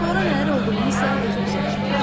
Sonra nələr olduğunu isə özünüz yaxşı bilirsiz.